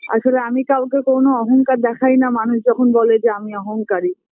আসলে আমি কাউকে কোনো অহংকার দেখাইনা মানুষ যখন বলে যে আমি অহংকারী